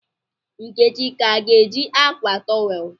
Nkechi ka ga-eji akwa towel?